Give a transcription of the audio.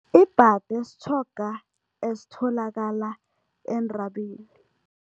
Ibhade sitjhoga esitholakala entabeni.